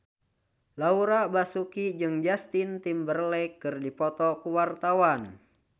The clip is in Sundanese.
Laura Basuki jeung Justin Timberlake keur dipoto ku wartawan